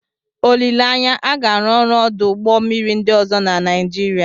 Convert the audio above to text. Olileanya, a ga-arụ ọrụ ọdụ ụgbọ mmiri ndị ọzọ na Nigeria.